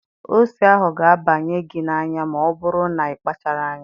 Ose ahụ ga-abanye gị n'anya ma ọ bụrụ na ị kpachara anya.